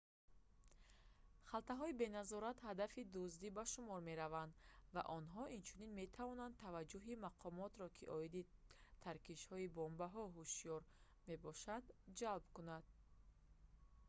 халтаҳои беназорат ҳадафи дуздӣ ба шумор мераванд ва онҳо инчунин метавонанд таваҷҷуҳи мақомотро ки оиди таркишҳои бомбаҳо ҳушёр мебошанд ҷалб кунанд